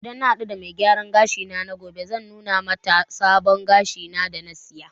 Idan mun hadu da mai gyaran gashi na gobe, zan nuna mata sabon gashin da na siya